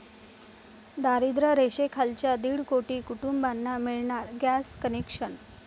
दारिद्र्य रेषेखालच्या दीड कोटी कुटुंबांना मिळणार गॅस कनेक्शन!